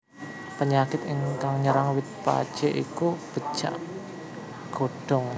Penyakit kang nyerang wit pacé iku becak godhong